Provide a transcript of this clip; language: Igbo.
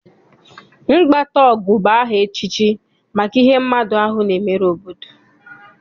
Mgbataọgụ bụ aha echichi maka ihe mmadụ ahụ na-emere obodo.